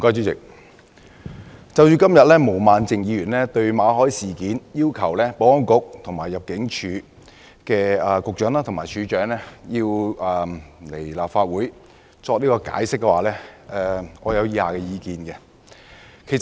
主席，毛孟靜議員今天動議議案，就馬凱事件要求保安局局長及入境事務處處長到立法會作出解釋，我有以下意見。